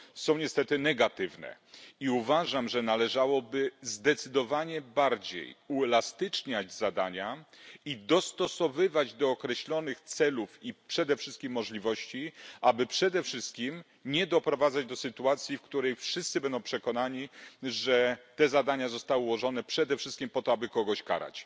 są niestety negatywne, i uważam, że należałoby zdecydowanie bardziej uelastyczniać zadania i dostosowywać do określonych celów i przede wszystkim możliwości, aby przede wszystkim nie doprowadzać do sytuacji, w której wszyscy będą przekonani, że te zadania zostały ułożone przede wszystkim po to, aby kogoś karać.